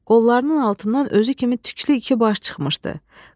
Qollarının altından özü kimi tüklü iki baş çıxmışdı.